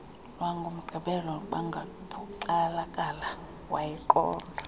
lwangomgqibelo bangaphoxakali wayiqonda